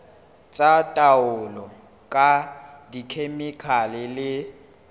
tsa taolo ka dikhemikhale le